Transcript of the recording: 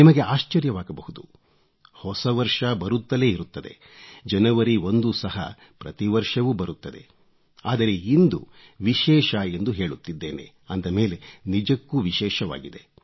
ನಿಮಗೆ ಆಶ್ಚರ್ಯವಾಗಬಹುದು ಹೊಸ ವರ್ಷ ಬರುತ್ತಲೇ ಇರುತ್ತದೆ ಜನವರಿ 1 ಸಹ ಪ್ರತಿವರ್ಷವೂ ಬರುತ್ತದೆ ಆದರೆ ಇಂದು ವಿಶೇಷ ಎಂದು ಹೇಳುತ್ತಿದ್ದೇನೆ ಅಂದ ಮೇಲೆ ನಿಜಕ್ಕೂ ವಿಶೇಷವಾಗಿದೆ